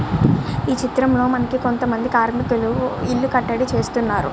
ఈ చిత్రం లో మనకి కొంత మంది కార్మికులు ఇల్లు కట్టడం చేస్తున్నారు.